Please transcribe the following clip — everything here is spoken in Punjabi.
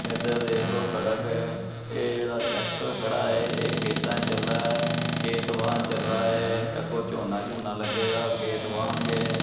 ਐਧਰ ਦੇਖ ਲੋ ਸੜਕ ਹੈ ਇਹ ਜੇਹੜਾ ਟ੍ਰੈਕਟਰ ਖੜ੍ਹਾ ਹੈ ਇਹ ਖੇਤਾਂ ਚ ਚੱਲਾ ਆ ਖੇਤ ਵਾਣ ਚੱਲਾ ਹੈ ਯਾ ਕੋਈ ਚੋਹਨਾ ਚੁਹਨਾ ਲੱਗੇਗਾ ਖੇਤ ਵਾਣਗੇ।